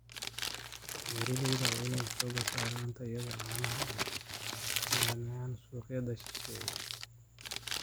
Beeralayda waa in ay xooga saaraan tayada caanaha ay u keenayaan suuqyada shisheeye.